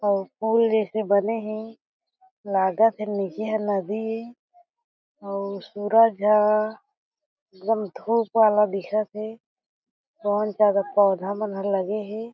अउ फूल जईसे बने हे लागत हे नीचे ह नदी ए अउ सूरज ह एकदम धूप वाला दिखत हे बहुत सारा पौधा मन ह लगे हे।